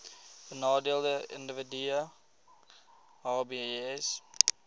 benadeelde individue hbis